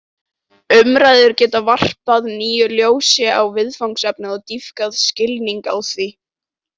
Umræður geta varpað nýju ljósi á viðfangsefnið og dýpkað skilning á því.